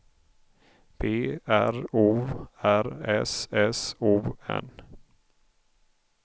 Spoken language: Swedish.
B R O R S S O N